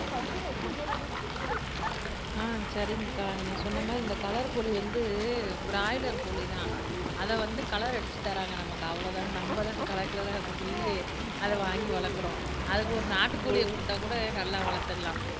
அஹ் சரிங்கக்கா நீங்க சொன்ன மாதிரி இந்த கலர்க்கோழி வந்து பிராய்லர் தான் அதை வந்து கலர் அடிச்சு தராங்க நமக்கு அவ்வளவு தான் நம்ம தான் கலர்கலரா இருக்கப்போய் அதை வாங்கி வளர்க்கிறோம் அக்கு ஒரு நாட்டு கோழியை குடுத்தா கூட நல்லா வளர்த்துறலாம்